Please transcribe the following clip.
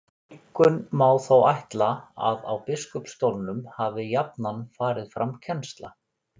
Einkum má þó ætla að á biskupsstólunum hafi jafnan farið fram kennsla.